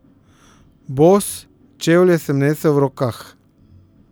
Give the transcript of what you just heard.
Bos, čevlje sem nesel v rokah.